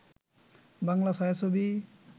Bangla ছায়াছবি